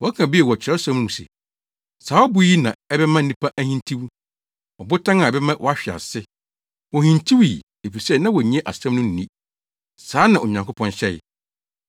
Wɔka bio wɔ Kyerɛwsɛm no mu se, “Saa ɔbo yi na ɛbɛma nnipa ahintiw; ɔbotan a ɛbɛma wɔahwe ase.” Wohintiwii, efisɛ na wonnye asɛm no nni. Saa na Onyankopɔn hyɛe.